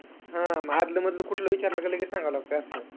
हा आधलं-मधलं कुठलं विचारलं का लगेच सांगावं लागत असं.